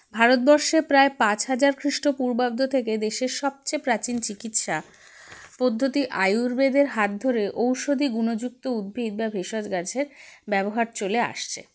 ভারতবর্ষে প্রায় পাঁচ হাজার খ্রিষ্ঠ পূর্বাব্দ থেকে দেশের সবচেয়ে প্রাচীন চিকিৎসা পদ্ধতি আয়ূর্বেদের হাত ধরে ঔষধি গুণযুক্ত উদ্ভিদ বা ভেষজ গাছের ব্যবহার চলে আসছে